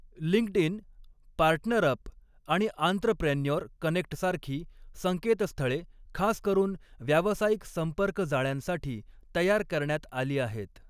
LinkedIn, PartnerUp आणि entrepreneur कनेक्टसारखी संकेतस्थळे, खास करून व्यावसायिक संपर्कजाळ्यांसाठी तयार करण्यात आली आहेत.